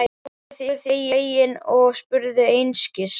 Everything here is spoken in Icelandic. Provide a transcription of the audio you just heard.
Börnin voru því fegin og spurðu einskis.